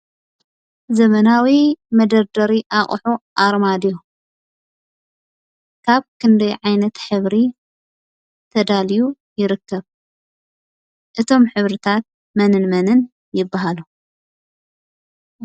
ዘመናዊ መደርደሪ ኣቁሑ ኣርማድዮ ካብ ክንደይ ዓይነት ሕብሪ ተዳልዩ ይርከብ? እቶም ሕብሪታት መንን መንን ይበሃሉ?